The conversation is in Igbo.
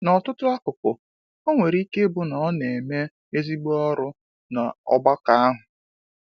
N’ọtụtụ akụkụ, o nwere ike ịbụ na ọ na-eme ezigbo ọrụ n’ọgbakọ ahụ.